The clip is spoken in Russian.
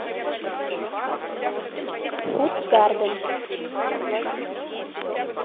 фудгарден